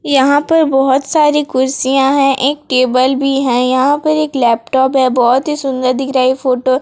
यहां पर बहोत सारी कुर्सियां है एक टेबल भी है यहां पर एक लैपटॉप है बहोत ही सुंदर दिख रहा ये फोटो ।